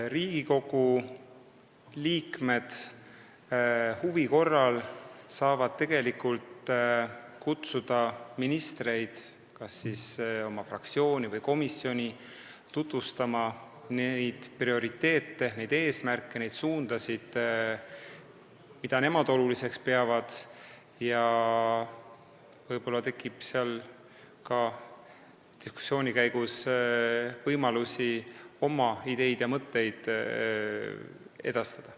Riigikogu liikmed saavad huvi korral kutsuda ministreid kas oma fraktsiooni või komisjoni tutvustama neid prioriteete, eesmärke ja suundasid, mida nemad oluliseks peavad, ja võib-olla tekib diskussiooni käigus ka võimalusi oma ideid ja mõtteid edastada.